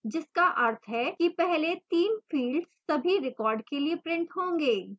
जिसका अर्थ है कि पहले 3 fields सभी record के लिए printed होंगे